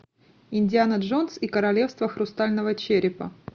индиана джонс и королевство хрустального черепа